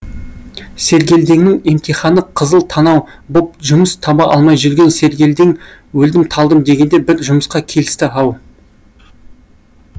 сергелдеңнің емтиханықызыл танау боп жұмыс таба алмай жүрген сергелдең өлдім талдым дегенде бір жұмысқа келісті ау